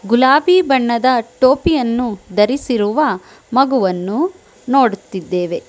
ಗುಲಾಬಿ ಬಣ್ಣದ ಟೋಪಿಯನ್ನು ಧರಿಸಿರುವ ಮಗುವನ್ನು ನೋಡುತ್ತಿದ್ದೇವೆ.